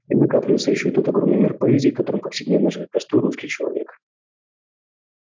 и накапливается ещё и тот огромный мир поэзии которым повседневно живёт простой русский человек